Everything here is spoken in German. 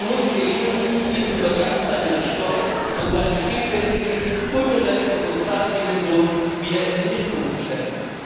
Es muss gelingen, diesen begeisternden Sport und seine vielfältige kulturelle und soziale Dimension wieder in den Mittelpunkt zu stellen.